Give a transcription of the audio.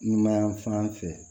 Numanyanfan fɛ